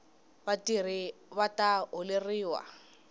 vatirhi vata holeriwa